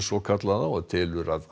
svokallaða og telur að